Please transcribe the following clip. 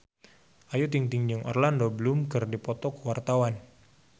Ayu Ting-ting jeung Orlando Bloom keur dipoto ku wartawan